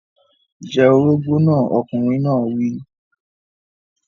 Jẹ orógbó náà! Ọkùnrin náà wí.